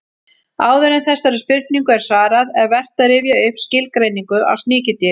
Áður en þessari spurningu er svarað er vert að rifja upp skilgreiningu á sníkjudýri.